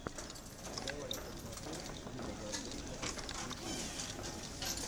давай я посмотрю дима гордей лайв ютьюб